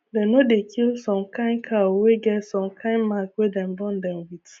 dem no dey kill some kind cow wey get some kind mark wey dem born dem with